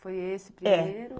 Foi esse primeiro? É